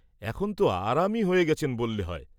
এখন ত আরামই হয়ে গেছেন বল্লে হয়।